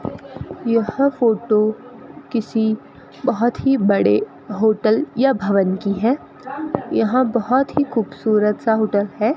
यह फोटो किसी बहोत ही बड़े होटल या भवन की है यहां बहोत ही खूबसूरत सा होटल है।